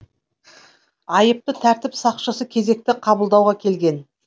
айыпты тәртіп сақшысы кезекті қабылдауға келген